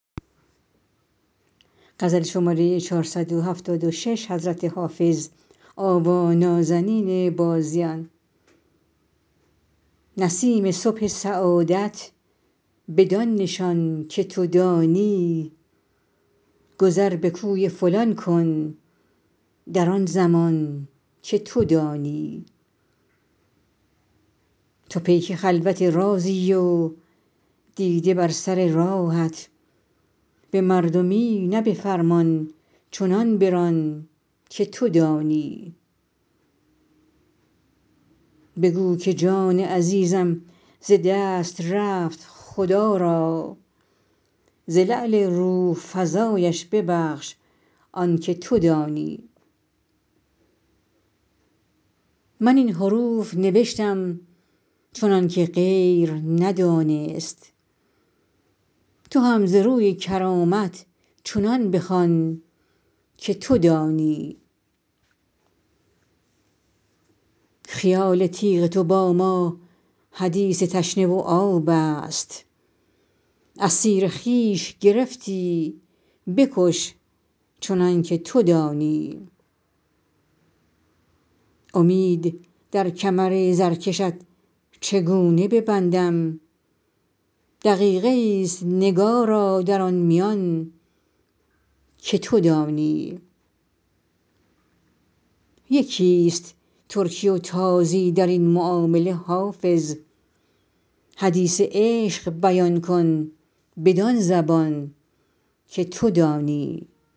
نسیم صبح سعادت بدان نشان که تو دانی گذر به کوی فلان کن در آن زمان که تو دانی تو پیک خلوت رازی و دیده بر سر راهت به مردمی نه به فرمان چنان بران که تو دانی بگو که جان عزیزم ز دست رفت خدا را ز لعل روح فزایش ببخش آن که تو دانی من این حروف نوشتم چنان که غیر ندانست تو هم ز روی کرامت چنان بخوان که تو دانی خیال تیغ تو با ما حدیث تشنه و آب است اسیر خویش گرفتی بکش چنان که تو دانی امید در کمر زرکشت چگونه ببندم دقیقه ای است نگارا در آن میان که تو دانی یکی است ترکی و تازی در این معامله حافظ حدیث عشق بیان کن بدان زبان که تو دانی